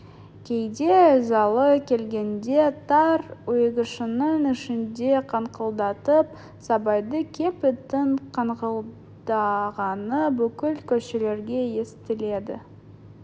кейде ызалы келгенде тар үйшігінің ішінде қаңқылдатып сабайды кеп иттің қаңқылдағаны бүкіл көршілерге естіледі